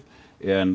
en